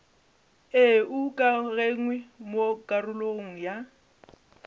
e ukangwego mo karolong ya